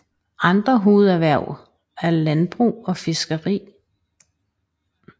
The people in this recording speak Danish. Andre hovederhverv er landbrug og fiskeri